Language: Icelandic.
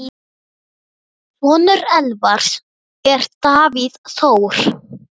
Sonur Elvars er Davíð Þór.